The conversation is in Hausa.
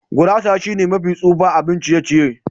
Gurasa shine mafi tsufa abun ciye-ciye.